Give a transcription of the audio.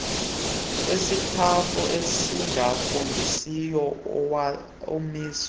esitafu esingafundisiyo amiswe